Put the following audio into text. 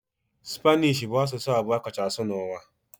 Spanishi bụ asụsụ abụọ a kacha asụ n'ụwa.